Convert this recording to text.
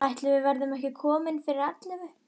Ætli við verðum ekki komin fyrir ellefu.